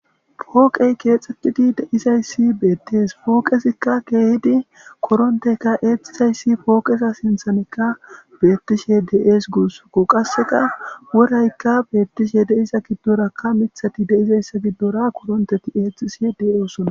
pooqey keexxetidi deizayssi beettees pooqesikka keehidi korontekka eexizayssi pooqesa sinthanekka beettishe deees guusko qasseka woraykka beettishe deisa giddorakka mithati deizayssa giddora koronteti eexxisi deyoosona